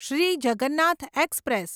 Shri Jagannath express